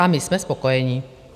A my jsme spokojení.